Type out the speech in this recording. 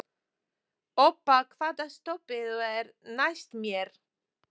Obba, hvaða stoppistöð er næst mér?